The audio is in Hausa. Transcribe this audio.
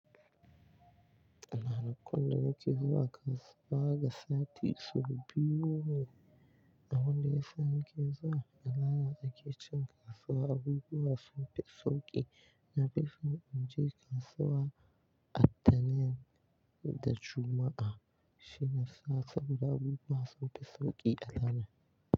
Ana kwana nake zuwa kasuwa ga sati saubi yuma. Abinda ya sani ke zuwa, alama ake cin kasuwa abubuwa sunfi sauki. Na fi son in je kasuwa a tanen da Juma'a, shine sata buɗe abubuwa sunfi sauki alama.